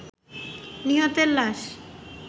নিহতের লাশ